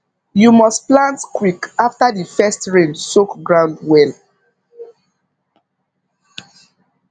you must plant quick after the first rain soak ground well